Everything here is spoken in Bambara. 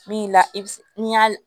Min la i bi se n'i y'a